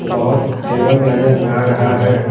बहुत टेबल नजर आ रहा है।